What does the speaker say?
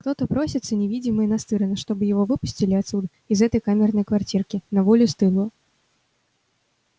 кто-то просился невидимый настырно чтобы его выпустили отсюда из этой камерной квартирки на волю стылую